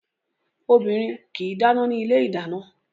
Obìnrin kì í dáná ní ilé ìdáná